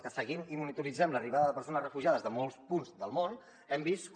els que seguim i monitoritzem l’arribada de persones refugiades de molts punts del món hem vist com